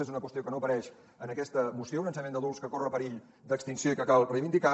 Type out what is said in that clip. és una qüestió que no apareix en aquesta moció un ensenyament d’adults que corre perill d’extinció i que cal reivindicar